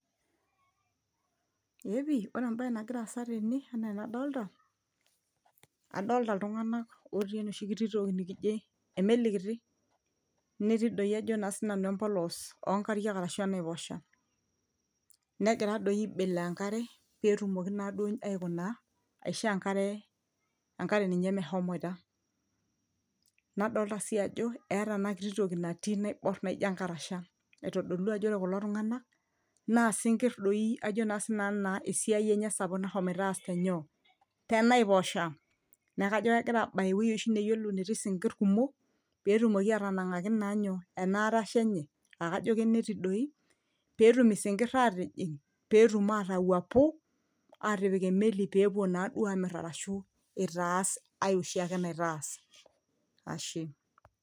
eeepi ore embaye nagira aasa tene enaa enadolta adolta iltung'anak otii enoshi kiti toki nikijo emeli kiti netii doi ajo naa sinanu empolos onkariak arashu enaiposha negira doi aibeloo enkare petumoki naduo aikuna aishoo enkare, enkare ninye mehomoita nadolta sii ajo eeta ena kiti toki natii naiborr naijo enkarasha aitodolu ajo ore kulo tung'anak naa isinkirr doi ajo naa sinanu naa esiai enye sapuk nahomoito aas tenyoo tenaiposha neeku kajo kegira abaya ewueji oshi neyiolo netii isinkirr kumok petumoki atanang'aki naa nyoo ana arasha enye akajo keneti doi petum isinkirr atijing petum atawuapu atipik emeli pepuo naduo amirr arashu itaas ae oshiake naitaas ashe.